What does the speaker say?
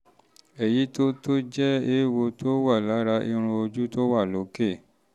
um èyí tó tó um jẹ́ um eéwo tó wà lára irun ojú tó wà lókè